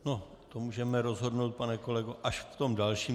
O tom můžeme rozhodnout, pane kolego, až v tom dalším.